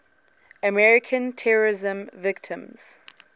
american terrorism victims